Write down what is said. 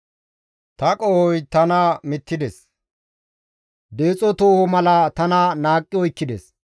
Ta qohoy tana mittides; deexo tooho mala tana naaqqi oykkides.